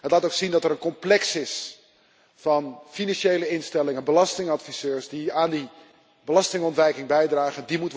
Het laat ook zien dat er een complex is van financiële instellingen, belastingadviseurs die aan die belastingontwijking bijdragen.